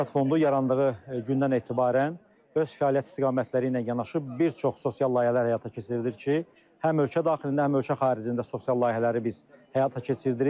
Yaşad fondu yarandığı gündən etibarən öz fəaliyyət istiqamətləri ilə yanaşı bir çox sosial layihələr həyata keçirilir ki, həm ölkə daxilində, həm ölkə xaricində sosial layihələri biz həyata keçirdirik.